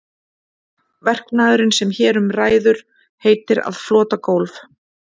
Verknaðurinn sem hér um ræður heitir að flota gólf.